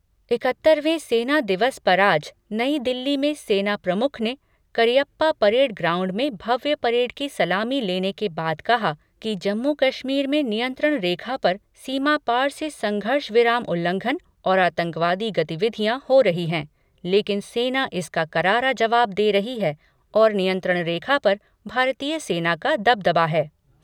इकहत्तरवें सेना दिवस पर आज नई दिल्ली में सेना प्रमुख ने करियप्पा परेड ग्राउंड में भव्य परेड की सलामी लेने के बाद कहा कि जम्मू कश्मीर में नियंत्रण रेखा पर सीमा पार से संघर्ष विराम उल्लंघन और आतंकवादी गतिविधियां हो रही हैं लेकिन सेना इसका करारा जवाब दे रही है और नियंत्रण रेखा पर भारतीय सेना का दबदबा है।